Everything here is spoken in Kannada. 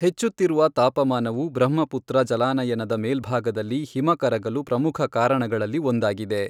ಹೆಚ್ಚುತ್ತಿರುವ ತಾಪಮಾನವು, ಬ್ರಹ್ಮಪುತ್ರ ಜಲಾನಯನದ ಮೇಲ್ಭಾಗದಲ್ಲಿ ಹಿಮ ಕರಗಲು ಪ್ರಮುಖ ಕಾರಣಗಳಲ್ಲಿ ಒಂದಾಗಿದೆ.